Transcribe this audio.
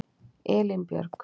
Elínbjörg